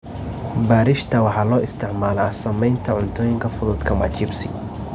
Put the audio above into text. Bariishta waxaa loo isticmaalaa sameynta cuntooyinka fudud kama chips.